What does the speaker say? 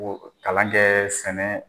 kalan kɛ sɛnɛ